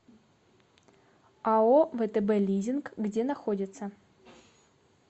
ао втб лизинг где находится